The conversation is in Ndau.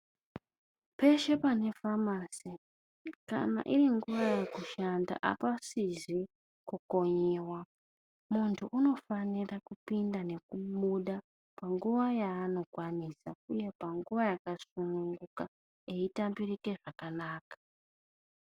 Peshe pane famasi, kana iringuwa yekushanda, apasizi kukonyiwa, munhu unofanira kupinda nekubuda panguwa yaanokwanisa uye panguwa yakasununguka eitambirike zvakanaka.